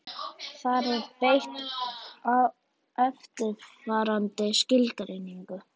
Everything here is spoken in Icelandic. Þar er beitt eftirfarandi skilgreiningu: